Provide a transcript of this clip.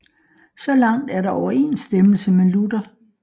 Så langt er der overensstemmelse med Luther